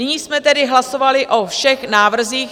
Nyní jsme tedy hlasovali o všech návrzích.